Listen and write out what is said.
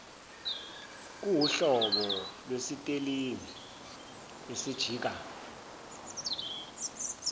kuwuhlobo lwesitelingi esijika